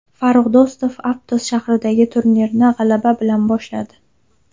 Farrux Do‘stov Aptos shahridagi turnirni g‘alaba bilan boshladi.